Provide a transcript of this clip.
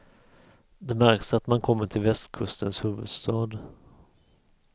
Det märks att man kommer till västkustens huvudstad.